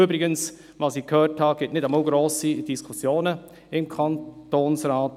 Ich habe übrigens gehört, dass es deshalb im dortigen Kantonsrat nicht einmal grosse Diskussionen gibt.